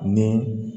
Ni